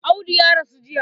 Audu ya rasu jiya.